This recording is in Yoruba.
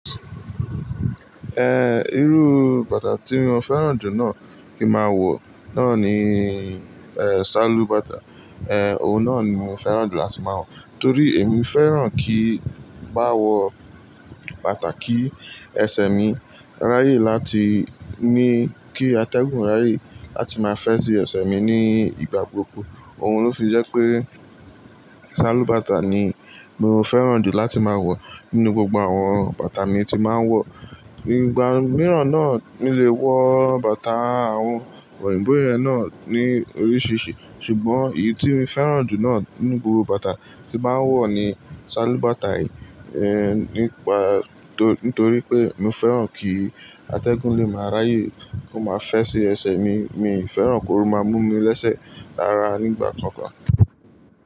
Irú bàtà tí mo fẹ́ràn jù náà kí máa wọ̀ náà ni ṣálú bàtà, òun náà ni mo fẹ́ràn jù láti máa wọ̀ torí èmi fẹ́ràn kí n bá wọ bàtà kí ẹsẹ̀ mi ráyè láti ní kí atẹ́gùn ráyè láti máa fẹ́ sí ẹsẹ̀ mi ní ìgbà gbogbo òun ló fi jẹ́ pé ṣálú bàtà ni mo fẹ́ràn jù láti máa wọ̀ nínú gbogbo àwọn bàtà mi tí máa ń wọ̀. Ní ìgbà mìíràn náà mi lè wọ bàtà àwọn òyìnbó yẹn náà ní oríṣìíríṣìí ṣùgbọ́n èyí tí mo fẹ́ràn jù náà nínú gbogbo bàtà tí màá ń wọ̀ ni ṣálú bàtà yìí nípa-- tó-- nítorí pé mo fẹ́ràn kí atẹ́gùn lè máa ráyè kó máa fẹ́ sí ẹsẹ̀ mi, mi fẹ́ràn kó máa mú mi lẹ́sẹ̀ rára nígbà kan kan.